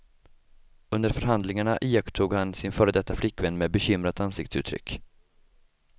Under förhandlingarna iakttog han sin före detta flickvän med bekymrat ansiktsuttryck.